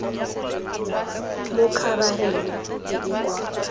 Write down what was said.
mo khabareng e e kwa